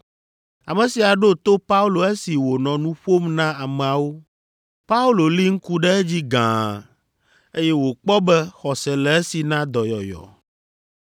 Ame sia ɖo to Paulo esi wònɔ nu ƒom na ameawo. Paulo li ŋku ɖe edzi gãa, eye wòkpɔ be xɔse le esi na dɔyɔyɔ,